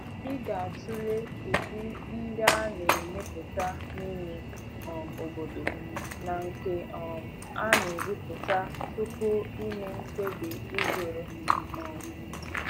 Ị ga-atụle ụdị ndị a na-emepụta n'ime um obodo na nke um a na-ebubata tupu ịme mkpebi ịzụrụ. um